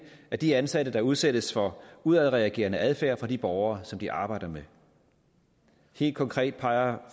af de ansatte der udsættes for udadreagerende adfærd fra de borgere som de arbejder med helt konkret peger